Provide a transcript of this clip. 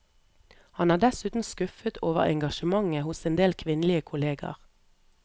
Han er dessuten skuffet over engasjementet hos endel kvinnelige kolleger.